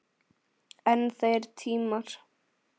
En þeir tímar!